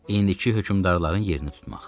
İndiki hökümdarların yerini tutmaq.